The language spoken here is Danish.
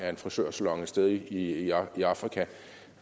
af en frisørsalon et sted i afrika